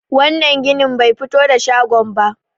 wannan ginin ba fito da shagon ba